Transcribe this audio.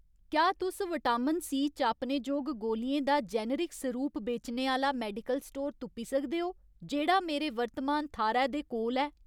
क्या तुस vitamin C चापने जोग गोलियें दा जेनेरिक सरूप बेचने आह्‌ला मेडिकल स्टोर तुप्पी सकदे ओ जेह्‌ड़ा मेरे वर्तमान थाह्‌रै दे कोल ऐ ?